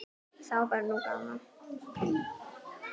Þá var nú gaman.